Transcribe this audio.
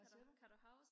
hvad siger du